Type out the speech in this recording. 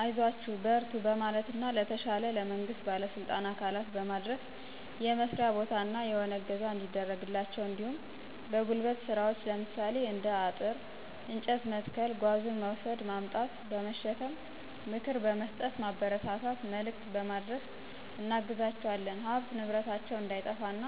አይዟችሁ በርቱ በማለትና ለተሻለ ለመንግስት ባለስልጣን አካላት በማድረስ የመስርያ ቦታ እና የሆነ እገዛ እንዲያደርግላቸው እንዲሁም በጉልበት ስራዎች ለምሳሌ እንደ አጥር፤ እንጨት መትከል ጓዙን መውስድ ማምጣት/በመሸከም ምክር በምስጠት ማበረታታት መልክት በማድረስ እናግዛቸዋለን። ሀብት ንብረታቸው እንዳይጠፋ እና